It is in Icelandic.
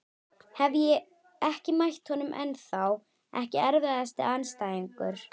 Hef ekki mætt honum ennþá Ekki erfiðasti andstæðingur?